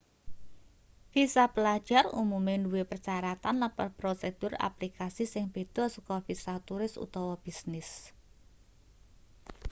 visa pelajar umume duwe persyaratan lan prosedur aplikasi sing beda saka visa turis utawa bisnis